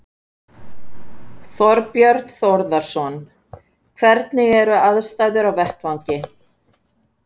Þorbjörn Þórðarson: Hvernig eru aðstæður á vettvangi?